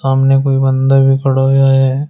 सामने कोई बंदा भी खड़ा होया है।